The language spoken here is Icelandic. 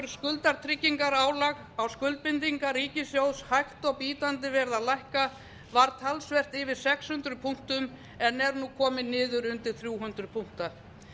skuldatryggingarálag á skuldbindingar ríkissjóðs hægt og bítandi verið að lækka var talsvert yfir sex hundruð punktum en er nú komið niður undir þrjú hundruð punkta